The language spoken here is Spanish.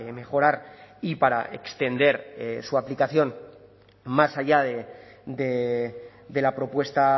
mejorar y para extender su aplicación más allá de la propuesta